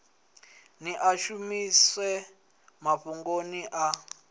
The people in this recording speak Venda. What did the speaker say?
ni a shumise mafhungoni a